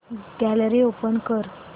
gallery open कर